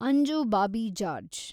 Anju Bobby George